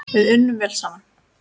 Við unnum vel saman.